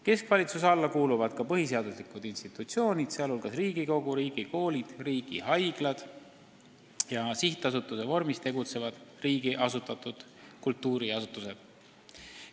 Keskvalitsuse alla kuuluvad ka põhiseaduslikud institutsioonid, sh Riigikogu, riigikoolid, riigihaiglad ja sihtasutuse vormis tegutsevad riigi asutatud kultuuriasutused.